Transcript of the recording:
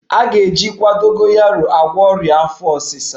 A ga-ejikwa dogoyaro agwọ ọrịa afọ ọsịsa